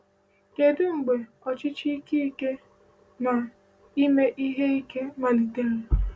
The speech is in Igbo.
Kedu mgbe ọchịchị ike ike na ime ihe ike malitere?